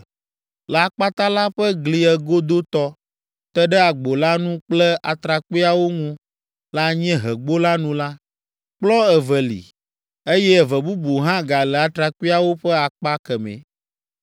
Le akpata la ƒe gli egodotɔ, te ɖe agbo la nu kple atrakpuiawo ŋu le anyiehegbo la nu la, kplɔ̃ eve li, eye eve bubu hã gale atrakpuiawo ƒe akpa kemɛ.